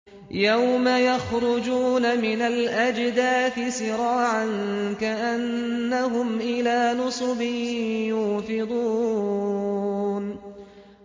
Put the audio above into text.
يَوْمَ يَخْرُجُونَ مِنَ الْأَجْدَاثِ سِرَاعًا كَأَنَّهُمْ إِلَىٰ نُصُبٍ يُوفِضُونَ